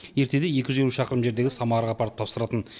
ертеде екі жүз елу шақырым жердегі самараға апарып тапсыратын